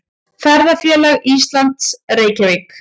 Ferðafélag Íslands, Reykjavík.